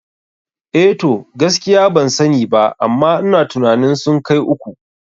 Eh to, gaskiya ban sani ba amma ina tunanin sun kai uku